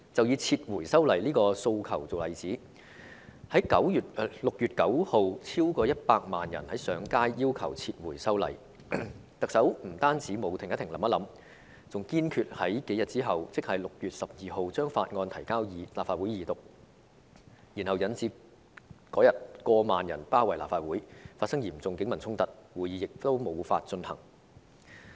以撤回修例的訴求為例，超過100萬人在6月9日上街要求撤回修例，但特首不單沒有"停一停，想一想"，還堅決在數天後把《條例草案》提交立法會二讀，以致當日有過萬人包圍立法會，發生嚴重警民衝突，會議亦無法進行。